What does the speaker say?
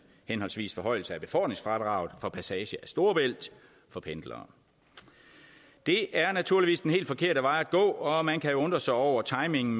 henholdsvis forhøjelse af befordringsfradraget for passage af storebælt for pendlere det er naturligvis den helt forkerte vej at gå og man kan jo undre sig over timingen